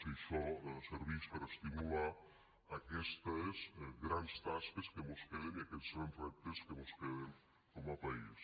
si això servix per a estimular aquestes grans tasques que mos queden i aquests grans reptes que mos queden com a país